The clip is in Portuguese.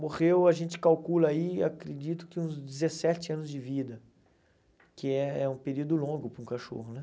Morreu, a gente calcula aí, acredito que uns dezessete anos de vida, que é um período longo para um cachorro, né?